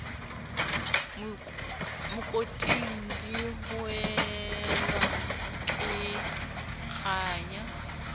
mokoting di hohelwa ke kganya